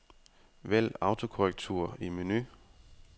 Vælg autokorrektur i menu.